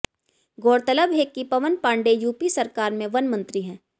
गौरतलब है कि पवन पांडे यूपी सरकार में वन मंत्री हैं